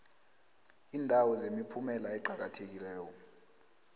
iindawo zemiphumela eqakathekileko